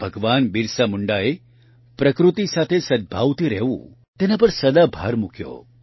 ભગવાન બિરસા મુંડાએ પ્રકૃતિ સાથે સદભાવથી રહેવું તેના પર સદા ભાર મૂક્યો